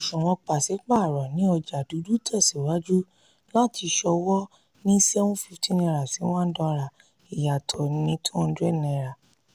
òṣùwọ̀n pàsípàrọ̀ ní ọjà dúdú tẹ̀síwájú láti ṣòwò ní seven fifty naira sí one dollar ìyàtọ̀ ni two hundred naira